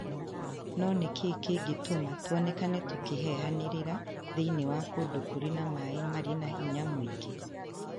No nĩ kĩĩ kĩngĩtũma tuoneke tũkĩhehanĩrĩra thĩinĩ wa kũndũ kũrĩ na maaĩ marĩ na hinya mũingĩ